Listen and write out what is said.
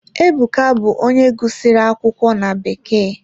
Ebuka bụ onye gụsịrị akwụkwọ na bekee.